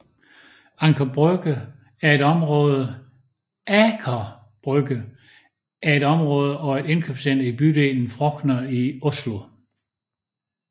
Aker Brygge er et område og et indkøbscenter i bydelen Frogner i Oslo